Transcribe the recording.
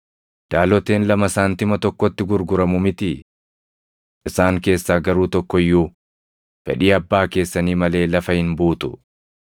Daaloteen lama saantima tokkotti gurguramu mitii? Isaan keessaa garuu tokko iyyuu fedhii Abbaa keessanii malee lafa hin buutu.